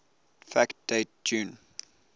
fact date june